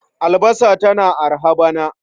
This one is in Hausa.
Albasa tana araha bana.